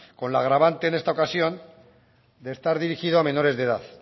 con la agravante en esta ocasión de estar dirigida a menores de edad